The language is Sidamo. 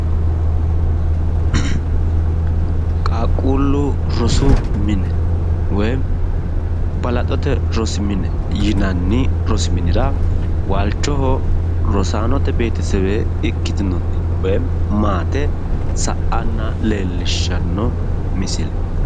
qaaqquullu rosu mine woyim balaxote rosi mine yinanni rosi minira waalchoho rosaanote beetesewe ikkitnoti woyi maate sa'anna leellishshanno misile.